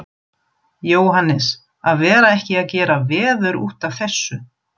Jóhannes, að vera ekki að gera veður útaf þessu.